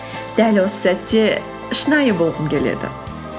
дәл осы сәтте шынайы болғым келеді